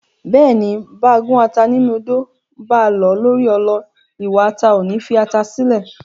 Bẹ́ẹ̀ni, báa gún ata ńnú odó, báa lọ̀ ọ́ lórí ọlọ, iwa ata ò ní fi ata sílẹ̀.